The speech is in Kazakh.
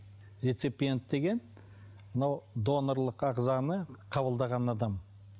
реципиент деген мынау донорлық ағзаны қабылдаған адам